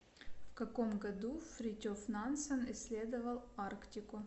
в каком году фритьоф нансен исследовал арктику